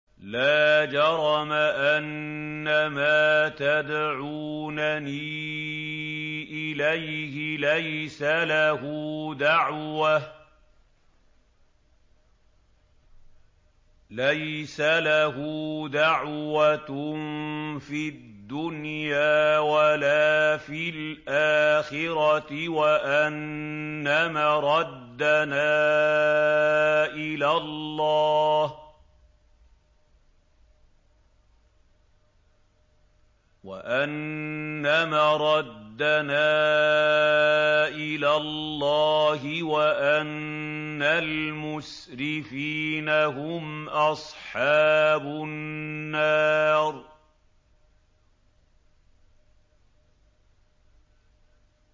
لَا جَرَمَ أَنَّمَا تَدْعُونَنِي إِلَيْهِ لَيْسَ لَهُ دَعْوَةٌ فِي الدُّنْيَا وَلَا فِي الْآخِرَةِ وَأَنَّ مَرَدَّنَا إِلَى اللَّهِ وَأَنَّ الْمُسْرِفِينَ هُمْ أَصْحَابُ النَّارِ